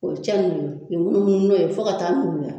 O cɛ munnu k'i munumunu n'o ye fo ka taa nuguya